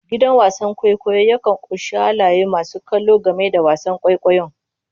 Gidan wasan kwaikwayo yakan ƙunshi halayen masu kallo game da wasan kwaikwayon.